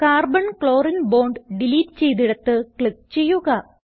carbon ക്ലോറിനെ bond delete ചെയ്തിടത്ത് click ചെയ്യുക